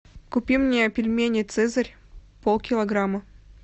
купи мне пельмени цезарь полкилограмма